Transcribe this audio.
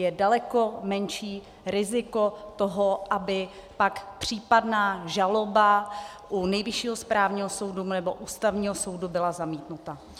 Je daleko menší riziko toho, aby pak případná žaloba u Nejvyššího správního soudu nebo Ústavního soudu byla zamítnuta.